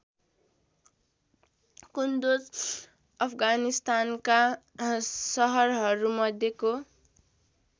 कुन्दोज अफगानिस्तानका सहरहरूमध्येको